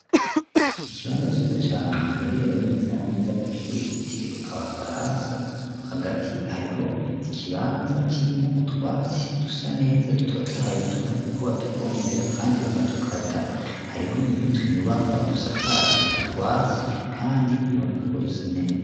ikibanza ciza cane giherereye neza na neza kw,ishure ryitiriwe abafaransa hagati hariho ikibanza kirimo utwasi dusa neza dutotahaye tuboneka ko batuvomerera kandi bakadukata, hariho nutunyubakwa dusakaje utwasi kandi biboneka ko dusa neza.